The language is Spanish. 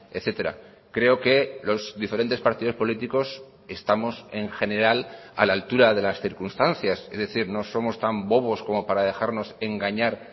etcétera creo que los diferentes partidos políticos estamos en general a la altura de las circunstancias es decir no somos tan bobos como para dejarnos engañar